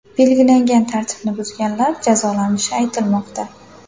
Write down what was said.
Belgilangan tartibni buzganlar jazolanishi aytilmoqda.